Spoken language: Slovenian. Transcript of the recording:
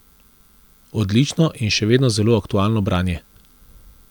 Odlično in še vedno zelo aktualno branje.